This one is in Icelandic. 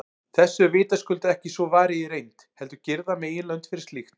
Þessu er vitaskuld ekki svo varið í reynd, heldur girða meginlönd fyrir slíkt.